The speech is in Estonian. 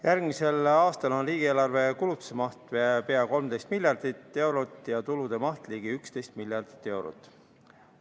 Järgmisel aastal on riigieelarve kulutuste maht pea 13 miljardit eurot ja tulude maht ligi 11 miljardit eurot.